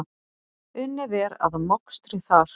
Unnið er að mokstri þar.